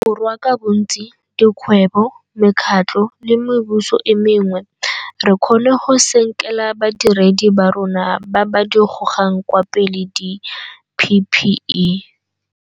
Borwa ka bontsi, dikgwebo, mekgatlho le mebuso e mengwe, re kgonne go senkela badiredi ba rona ba ba di gogang kwa pele di-PPE.